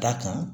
Da kan